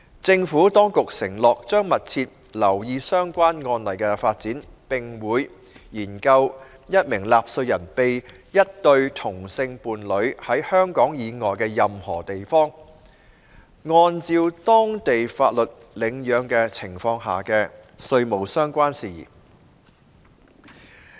政府當局承諾，將密切留意相關案例的發展，並會研究一名納稅人被一對同性伴侶在香港以外的任何地方，按照當地法律領養的情況下的稅務相關事宜。